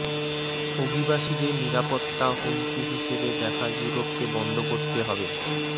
অভিবাসীদের নিরাপত্তা হুমকি হিসেবে দেখা ইউরোপকে বন্ধ করতে হবে